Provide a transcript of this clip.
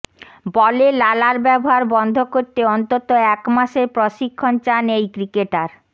বলে লালার ব্যবহার বন্ধ করতে অন্তত এক মাসের প্রশিক্ষণ চান এই ক্রিকেটার